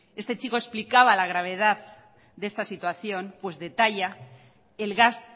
este chico explicaba la gravedad de esta situación pues detalla el gas